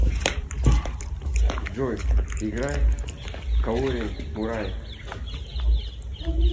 джой играй каори мурай